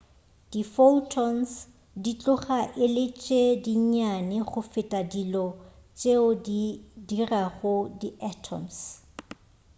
diphotons di tloga e le tše dinnyane go feta dilo tšeo di dirago di atoms